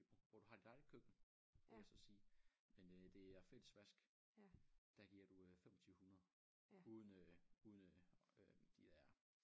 Hvor du har dit eget køkken vil jeg så sige men øh det er fælles vask der giver du øh 2500 uden øh uden øh de der